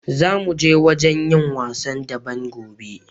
Zamu je wajen yin wasan daɓen gobe.